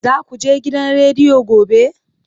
Za ku je gidan rediyo gobe?